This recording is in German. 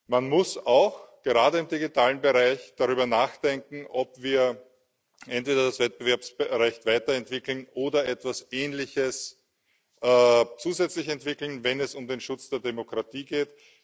Man muss auch gerade im digitalen Bereich darüber nachdenken, ob wir entweder das Wettbewerbsrecht weiterentwickeln oder etwas Ähnliches zusätzlich entwickeln, wenn es um den Schutz der Demokratie geht.